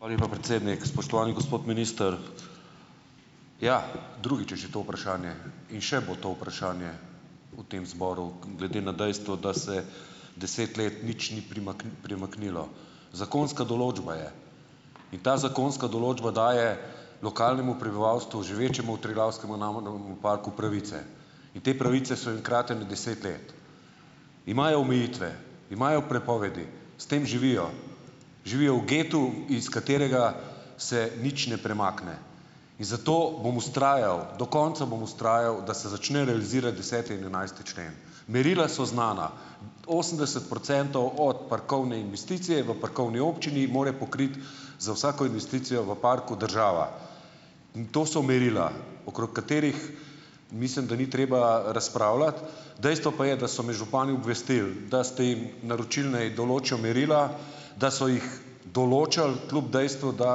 Hvala lepa, predsednik. Spoštovani gospod minister! Ja, drugič že to vprašanje in še bo to vprašanje v tem zboru glede na dejstvo, da se deset let nič ni premaknilo. Zakonska določba je in ta zakonska določba daje lokalnemu prebivalstvu, živečemu v Triglavskemu narodnemu parku, pravice, te pravice so jim kratene deset let. Imajo omejitve, imajo prepovedi, s tem živijo. Živijo v getu, iz katerega se nič ne premakne, in zato bom vztrajal, do konca bom vztraja,, da se začne realizirati deseti in enajsti člen. Merila so znana, osemdeset procentov od parkovne investicije v parkovni občini mora pokriti za vsako investicijo v parku država. In to so merila, okrog katerih mislim, da ni treba razpravljati. Dejstvo pa je, da so me župani obvestili, da ste jim naročili, naj določijo merila, da so jih določili kljub dejstvu, da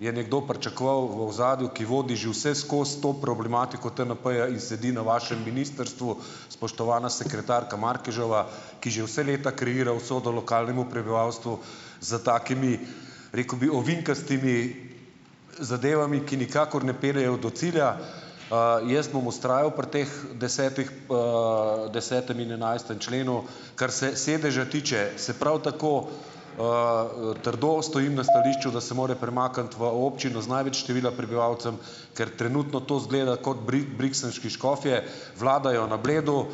je nekdo pričakoval v ozadju, ki vodi že vseskozi to problematiko TNP-ja in sedi na vašem ministrstvu, spoštovana sekretarka Markeževa, ki že vse leta kreira usodo lokalnemu prebivalstvu z takimi, rekel bi, ovinkastimi zadevami, ki nikakor ne peljejo do cilja. Jaz bom vztrajal pri teh desetih, desetem in enajstem členu. Kar se sedeža tiče, se pravi, tako, trdo stojim na stališču , da se more premakniti v občino z največ števila prebivalcev, ker trenutno to izgleda kot briksenški škofje, vladajo na Bledu,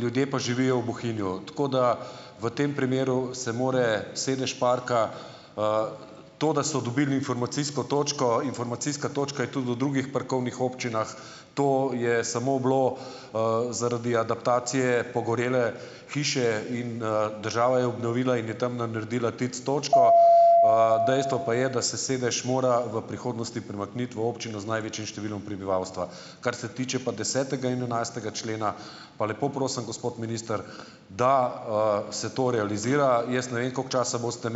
ljudje pa živijo v Bohinju. Tako da v tem primeru se mora sedež parka, to, da so dobili informacijsko točko, informacijska točka je tudi v drugih parkovnih občinah, to je samo bilo, zaradi adaptacije pogorele hiše in, država je obnovila in je tam naredila TIC- točko. Dejstvo pa je, da se sedež mora v prihodnosti premakniti v občino z največjim številom prebivalstva. Kar se tiče pa desetega in enajstega člena, pa lepo prosim, gospod minister, da, se to realizira. Jaz ne vem, koliko časa boste ...